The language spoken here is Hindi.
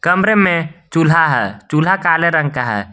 कमरे में चूल्हा है चूल्हा काले रंग का है।